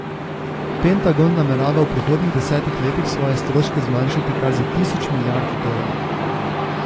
Pentagon namerava v prihodnjih desetih letih svoje stroške zmanjšati kar za tisoč milijard dolarjev.